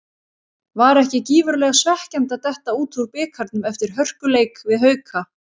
Var ekki gífurlega svekkjandi að detta út úr bikarnum eftir hörkuleik við Hauka?